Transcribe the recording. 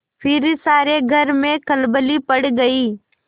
फिर सारे घर में खलबली पड़ गयी